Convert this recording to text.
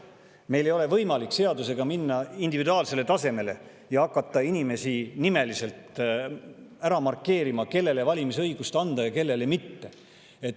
Meil ei ole võimalik seadusega minna individuaalsele tasemele ja hakata nimeliselt ära markeerima inimesi, kellele valimisõigus anda ja kellele mitte.